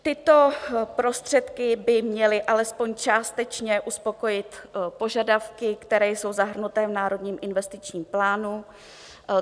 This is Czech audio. Tyto prostředky by měly alespoň částečně uspokojit požadavky, které jsou zahrnuty v Národním investičním plánu.